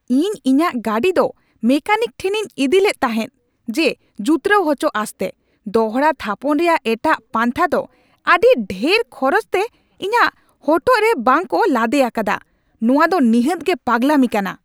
ᱤᱧ ᱤᱧᱟᱹᱜ ᱜᱟᱹᱰᱤ ᱫᱚ ᱢᱮᱠᱮᱱᱤᱠ ᱴᱷᱮᱱᱤᱧ ᱤᱫᱤ ᱞᱮᱫ ᱛᱟᱦᱮᱸ ᱡᱮ ᱡᱩᱛᱨᱟᱣ ᱦᱚᱪᱚ ᱟᱸᱥᱛᱮ, ᱫᱚᱦᱲᱟ ᱛᱷᱟᱯᱚᱱ ᱨᱮᱭᱟᱜ ᱮᱴᱟᱜ ᱯᱟᱱᱛᱷᱟ ᱫᱚ ᱟᱹᱰᱤ ᱰᱷᱮᱨ ᱠᱷᱚᱨᱪᱟᱛᱮ ᱤᱧᱟᱹᱜ ᱦᱚᱴᱚᱜ ᱨᱮ ᱵᱟᱝ ᱠᱚ ᱞᱟᱫᱮ ᱟᱠᱟᱫᱟ! ᱱᱚᱶᱟ ᱫᱚ ᱱᱤᱦᱟᱹᱛ ᱜᱮ ᱯᱟᱜᱽᱞᱟᱢᱤ ᱠᱟᱱᱟ ᱾